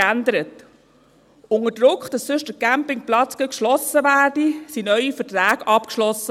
Unter dem Druck, dass der Campingplatz sonst ganz geschlossen werde, wurden neue Verträge abgeschlossen.